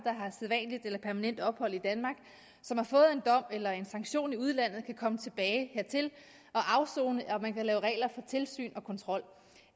har sædvanligt eller permanent ophold i danmark og som har fået en dom eller en sanktion i udlandet kan komme tilbage hertil og afsone og at man kan lave regler for tilsyn og kontrol